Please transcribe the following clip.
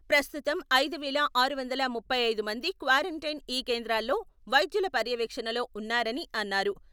ప్రస్తుతం ఐదు వేల ఆరు వందల ముప్పై ఐదు మంది క్వారంటైన్ ఈ కేంద్రాల్లో వైద్యుల పర్యవేక్షణలో ఉన్నారని అన్నారు.